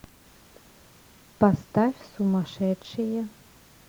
поставь сумасшедшие